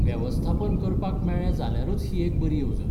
वेवस्थापन करपाक मेळ्ळें जाल्यारूच ही एक बरी येवजण.